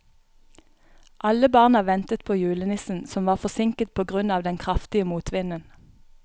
Alle barna ventet på julenissen, som var forsinket på grunn av den kraftige motvinden.